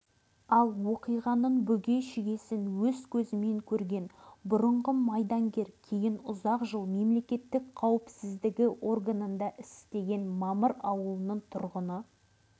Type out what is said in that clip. оны алғаш айтқан май аудандық атқару комитеті төрағасының орынбасары айтмұхамбет жақыпов еді